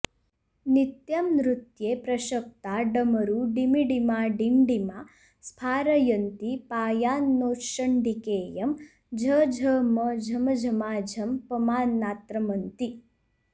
नित्यं नृत्ये प्रशक्ता डमरु डिमिडिमाडिण्डिमा स्फारयन्ती पायान्नोश्चण्डीकेयं झ झ म झम झमा झं पमानात्रमन्ती